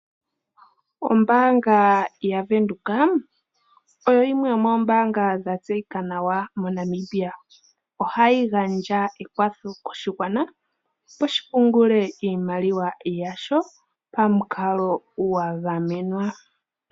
Ombaanga yaVenduka oyo yimwe yomoombaanga dha tseyika nawa moNamibia ohayi gandja ekwatho koshigwana sho shi pungule iimaliwa smashing pako